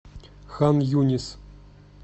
хан юнис